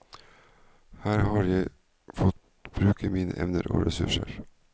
Her har jeg fått bruke mine evner og ressurser.